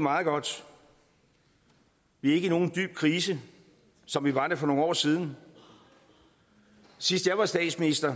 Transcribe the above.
meget godt vi er ikke i nogen dyb krise som vi var det for nogle år siden sidst jeg var statsminister